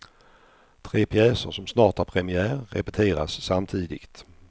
Tre pjäser som snart har premiär repeteras samtidigt.